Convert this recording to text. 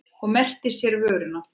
Og merkti sér vöruna.